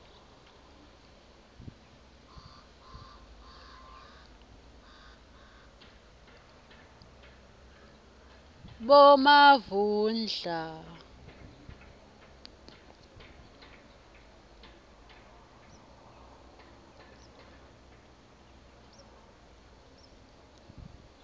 bomavundla